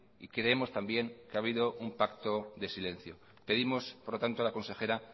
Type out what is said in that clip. y creemos también que ha habido un pacto de silencio pedimos por lo tanto a la consejera